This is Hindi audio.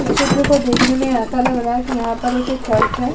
इस चित्र को देखने में ऐसा लग रहा है कि यहाँ पर एक चर्च है।